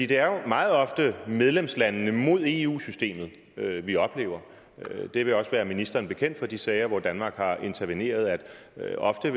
det er jo meget ofte medlemslandene mod eu systemet vi oplever det vil også være ministeren bekendt fra de sager hvor danmark har interveneret at det ofte